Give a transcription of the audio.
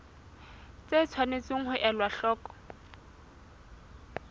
tse tshwanetseng ho elwa hloko